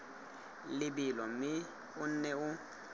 lebelo mme o nne o